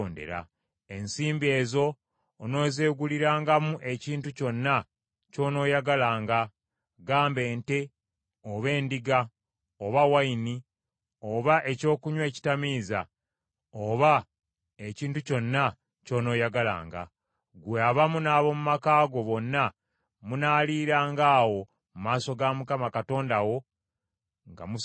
Ensimbi ezo onoozeegulirangamu ekintu kyonna ky’onooyagalanga: gamba ente, oba endiga, oba envinnyo, oba ekyokunywa ekitamiiza, oba ekintu kyonna ky’onooyagalanga. Ggwe awamu n’ab’omu maka go bonna munaaliiranga awo mu maaso ga Mukama Katonda wo nga musanyuka.